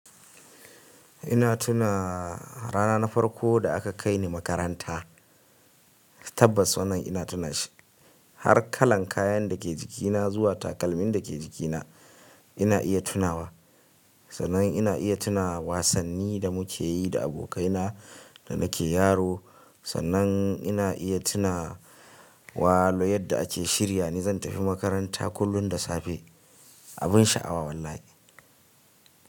Ina tuna rana na farko da aka kai ni makaranta, tabbas wannan ina tunashi. Har kalan kayan da ke jikina zuwa takalmin da ke jikina ina iya tunawa. Sannan ina iya tuna wasanni da muke yi da abokaina da nake yaro. Sannan ina iya tuna wa lo yadda ake shirya ni zan tafi makaranta kullum da safe. Abin sha'awa wallahi.